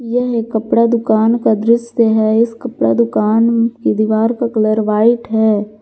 यह एक कपड़ा दुकान का दृश्य है इस कपड़ा दुकान की दीवार का कलर व्हाइट है।